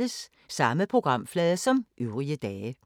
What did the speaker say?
Samme programflade som øvrige dage